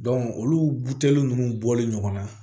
olu buteli nunnu bɔlen ɲɔgɔn na